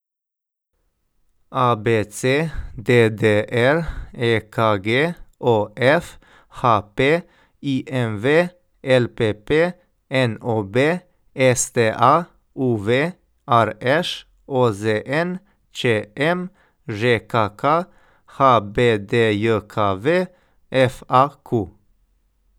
A B C; D D R; E K G; O F; H P; I M V; L P P; N O B; S T A; U V; R Š; O Z N; Č M; Ž K K; H B D J K V; F A Q.